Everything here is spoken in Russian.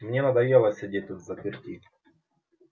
мне надоело сидеть тут взаперти